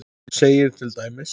segir til dæmis